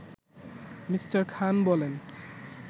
Me. Khan বলেন